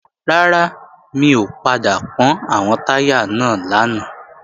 Rárá, mi ò padà pọ́n àwọn táyà náà lánàá